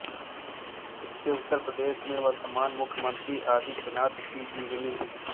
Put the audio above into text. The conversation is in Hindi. इसमें उत्तर प्रदेश के वर्तमान मुख्यमंत्री आदित्यनाथ की जीवनी है